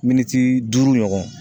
Miniti duuru ɲɔgɔn.